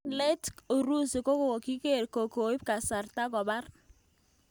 En let urusi kokiger ng'o koip kasartai kopar